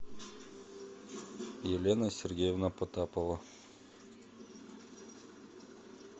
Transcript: елена сергеевна потапова